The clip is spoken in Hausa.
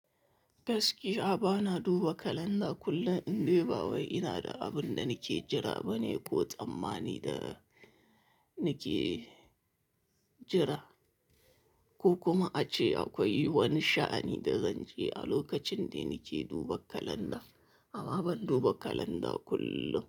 Gaskiya ba na duba kalanda kullum. In dai ba wai ina da abin da nake jira bane ko tsammani da nake jira, ko kuma ace akwai wani sha'ani da zanje a lokacin da nake duba kalanda. Ama ban duba kalanda kullum.